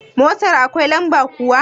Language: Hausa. Motar akwai lamba kuwa?